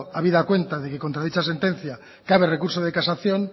habida cuenta que contra dicha sentencia cabe recurso de casación